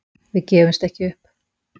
Við gefumst ekki upp.